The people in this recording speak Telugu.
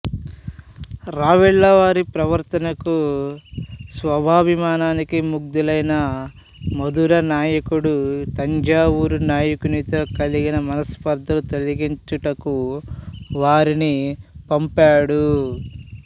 రావెళ్ళవారి ప్రవర్తనకు స్వాభిమానానికి ముగ్ధులైన మధుర నాయకుడు తంజావూరు నాయకునితో కలిగిన మనస్పర్ధలు తొలగించుటకు వారిని పంపాడు